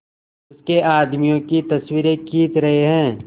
उसके आदमियों की तस्वीरें खींच रहे हैं